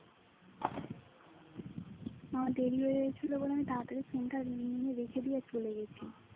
আমার দেরি হয় গিয়েছিলো বলে তাড়া তাড়ি আমি phone টা নিয়ে রেখে দিয়ে চলে গিয়েছি